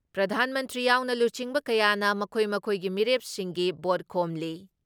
ꯄ꯭ꯔꯙꯥꯟ ꯃꯟꯇ꯭ꯔꯤ ꯌꯥꯎꯅ ꯂꯨꯆꯤꯡꯕ ꯀꯌꯥꯅ ꯃꯈꯣꯏ ꯃꯈꯣꯏꯒꯤ ꯃꯤꯔꯦꯞꯁꯤꯡꯒꯤ ꯚꯣꯠ ꯈꯣꯝꯂꯤ ꯫